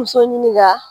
Muso ɲinika